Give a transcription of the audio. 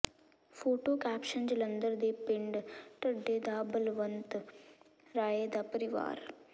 photo caption Jalandhar ਦੇ ਪਿੰਡ ਢੱਡੇ ਦਾ ਬਲਵੰਤ ਰਾਏ ਦਾ ਪਰਿਵਾਰ